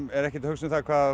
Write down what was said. er ekkert að hugsa um